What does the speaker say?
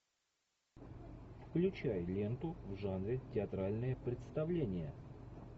включай ленту в жанре театральное представление